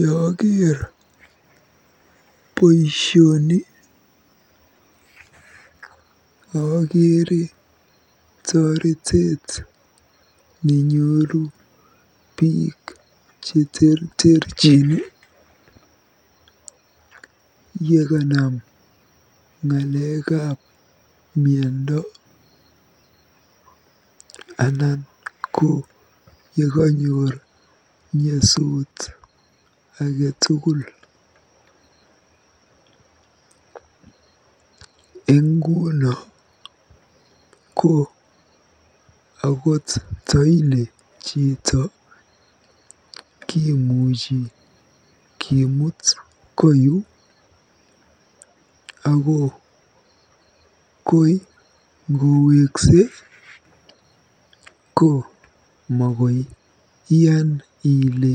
Yeaker boisioni akere toretet nenyoru biik cheterterchin yekanam ng'alekab miando anan ko yekanyor nyasut age tugul. Eng nguno ko akot ndoile chito kimuchi kimuut koyu, ako koi ngoweksei ko makoiyan ile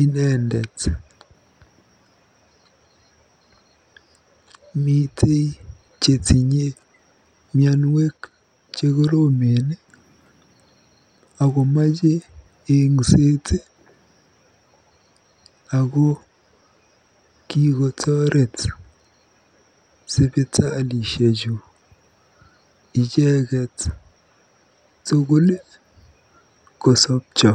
inendet. Mitei chetinye mianwek chekoromen akomeche engset ako kikotoret sipitalisheju icheket tugul kosopcho.